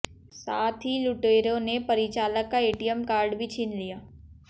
साथ ही लुटेरों ने परिचालक का एटीएम कार्ड भी छीन लिया